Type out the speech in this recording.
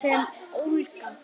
Sem ólga.